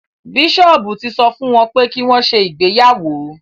Bíṣọ́ọ̀bù ti sọ fún wọn pé kí wọ́n ṣe ìgbéyàwó